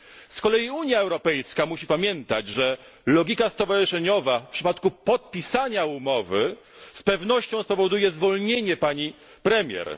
Z kolei Unia Europejska musi pamiętać, że logika stowarzyszeniowa w przypadku podpisania umowy z pewnością spowoduje zwolnienie pani premier.